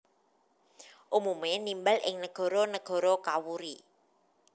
Umume nimbal ing negara negara kawuri